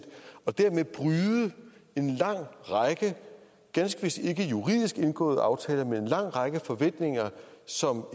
og dermed bryde en lang række ganske vist ikke juridisk indgåede aftaler med en lang række forventninger som